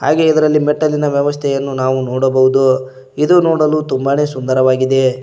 ಹಾಗೆ ಇದರಲ್ಲಿ ಮೆಟ್ಟಿಲುನ ವ್ಯವಸ್ಥೆಯನ್ನು ನೋಡಬಹುದು ಹಾಗು ಇದು ನೋಡಲು ತುಂಬಾನೇ ಸುಂದರವಾಗಿದೆ.